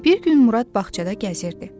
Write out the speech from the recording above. Bir gün Murad bağçada gəzirdi.